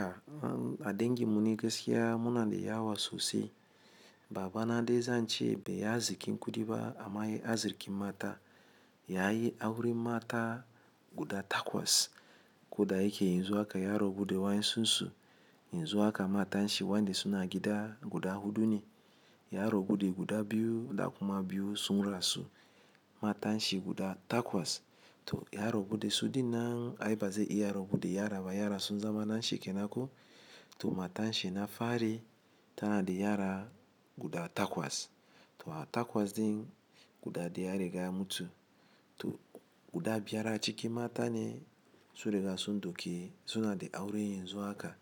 A dengin mu ni gaskiya muna da yawa sosai. Baba na dai zan ce bai yi azikin kudiba amma yayi azikin mata. Ya yi auren mata guda takwas. Koda yake yanzu haka yara buda wa'in sunsu. Yanzu haka matan shi wanda suna gida guda hudu ne. Yaro guda biyu da kuma biyu sun rasu. Matan shi guda takwas. To, ya rabu da su din nan ai bazai iya rabu da yara ba yara sun zama na shi kenan ko. To matan shi na fari tana da yara guda takwas. To a takwas din guda daya riga ya mutu. To, guda biyar a ciki mata ne, sun riga sun ɗauki. Suna da aure yanzu haka.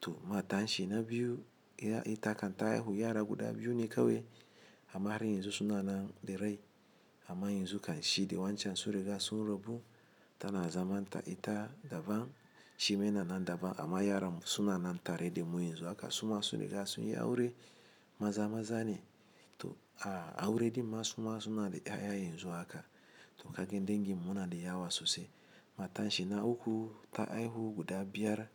To matan shi na biyu ita kan ta haihu yara guda biyu ne kawai amma har yanzu suna nan da rai. Amma yanzu kan shi da wa'ancan su riga sun rabu. Tana zaman ta ita daban. Shi ma yana nan daban amma yaran suna nan tare da mu yanzu haka. Su ma su riga sun yi aure. Maza maza ne. To a, aure din ma suma suna da ya ya yanzu haka to kaga dengin muna da yawa sosai. Matan shi na uku ta haihu guda biyar.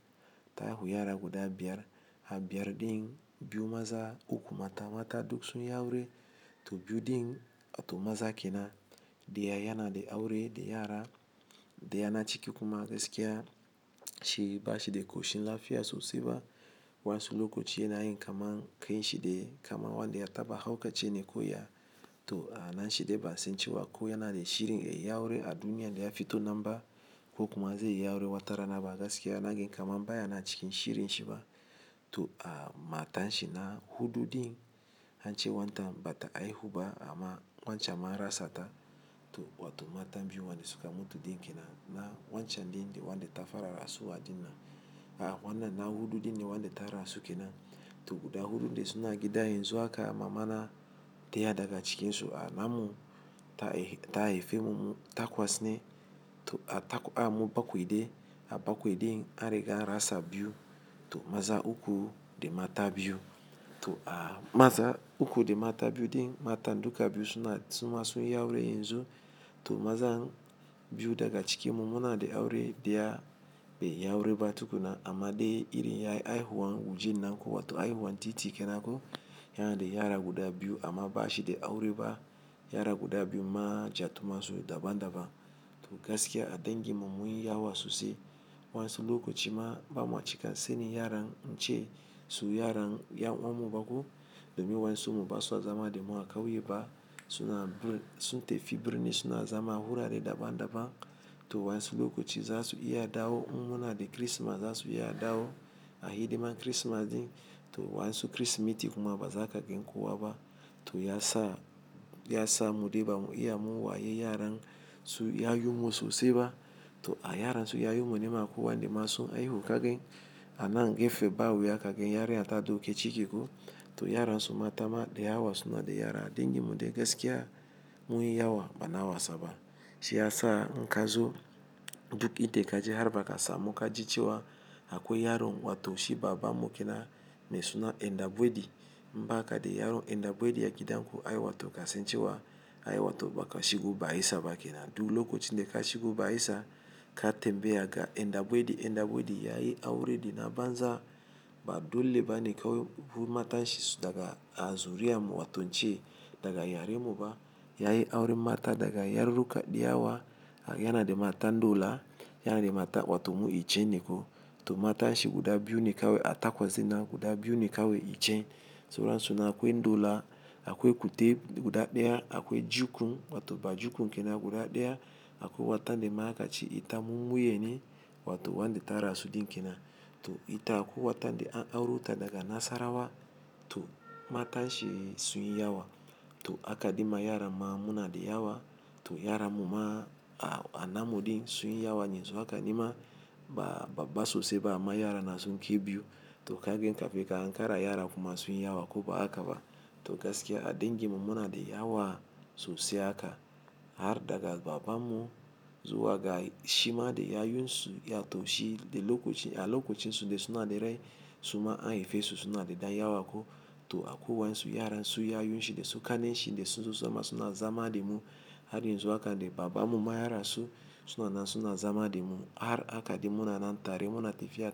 Ta haihu yara guda biyar. A biyar din biyu maza uku mata. Mata duk sun yi aure. To biyu din wato maza ke nan. Daya yana da aure da yara. Daya na ciki kuma gaskiya shi bashi da ƙoshin lafiya sosai ba. Wani lokaci yana yin kama kai shi da kamar wanda ya taba hauka ce ne kuwa. To a nan shi dai ba'a san cewa ko yana da shirin ya yi aure a duniya da ya fito nan ba ko kuma zai yi aure watarana ba gaskiya naga kama baya na cikin shirin shi ba. To a matan shi na huɗu din an ce wanta bata haihu ba amma wancan marasata. To wato matan biyu wanda suka mutu din ke nan. Na, wancan din wanda ta fara rasuwa din nan. A wannan na huɗu din ne wanda ta rasu ke nan. To guda huɗun da suna gida yanzu haka. Mamana daya daga cikinsu a namun ta haifi mu takwas ne. To a tak a mu bakwai dai. A bakwai din an riga an rasa biyu. To maza uku da mata biyu. To a maza uku da mata biyu din mata duka biyu suna suna sun yi aure yanzu. To mazan biyu daga ciki mu muna da aure daya bai yi aure ba tukuna amma dai iri yayi haihuwan waje nan kuwa. To haihuwan titi ke nan ko. Yana da yara guda biyu amma bashi da aure ba. Yara guda biyu ma ja tu masu daban daban. To gaskiya a dengim mun yi yawa sosai. Wani lokaci ma bamu cika sani yaran mu ce su yaran ya'uwan mu ba ko domin wani su mu ba su zama da mu a kauye ba. Suna sun tafi birni suna zama wura re daban daban. To wani lokaci za su iya dawo mun muna da Kirsimeti za su iya dawo a hidiman Kirsimeti. To wani su Kirsimeti kuma bazaka ganku wa ba. To ya sa ya sa mu dai ba mu iya mu wa yaran su yayu mu sosai ba. To a yaran su yayu mu ne ma kuwa. Anda ma su haihu kagin ana gefe ba wuya kagin yarinya ta dauki cike ko. To yaran su matama da yawa suna da yara. Dengim dai gaskiya mun yi yawa bana wasa ba. Shi ya sa na kazo duk ida kaji har ba ka samu ka ji cewa akwai yaron wato shi baba mu ke nan me suna Endabuedi. Ba'a kaɗai yaron Endabuedi ya gidan ku. Ai wato ka san cewa ai wato baka shigo ba isa ba ke nan. Duk lokacin da ka shigo ba isa ka tembe ya ga Endabuedi Endabuedi yayi aure din a banza. Ba dole ba ne kawai bu matan shi daga Azuriya mu wato ce daga yaren mu ba. Yayi auren mata daga yaruka da yawa. Yana da matan dola yana da mata wato mu icce ne ko. To matan shi guda biyu ne kawai a takwas in nan guda biyu ne kawai icce. Sauransu na akwai ndola akwai kute guda daya akwai jukun wato ba jukun ke nan guda daya akwai wanda mai aka ci ita mun muye ne wato wanda ta rasu din ke nan. To ita akwai wanda an auraruta daga Nasarawa. To matan shi sun yi yawa. To akaɗin ma yaran ma muna da yawa. To yaran mu ma a namun din sun yi yawa yanzu haka. Nima ba babba sosai ba amma yara na sun kai biyu. To kagin ka fi ka an kara yara kuma sun yi yawa ko ba aka ba. To gaskiya a dangin muna da yawa sosai haka, har daga babanmu shima zuwa ga shima da yayen shi, wato shi a lokacin da suna da rai suma an haife su su na da dan yawa ko to akwai wa'ansu yaran su yayun shi dai su kanen shi dai sun susama suna zama da mu. Har yanzu haka dai baban mu ma yarasu suna nan suna zama da mu. Har aka ɗin muna nan tare muna tafiya.